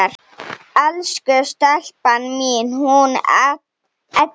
Elsku stelpan mín, hún Edda!